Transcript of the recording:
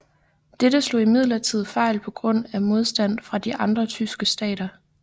Dette slog imidlertid fejl på grund af modstand fra de andre tyske stater